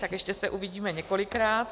Tak ještě se uvidíme několikrát.